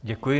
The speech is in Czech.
Děkuji.